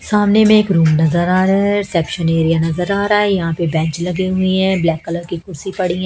सामने में एक रूम नजर आ रहा है रिसेप्शन एरिया नजर आ रहा है यहां पे बेंच लगे हुए हैं ब्लैक कलर की कुर्सी पड़ी--